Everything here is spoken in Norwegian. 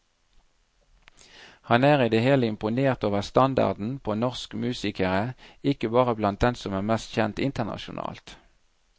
Han er i det hele imponert over standarden på norsk musikere, ikke bare blant dem som er mest kjent internasjonalt.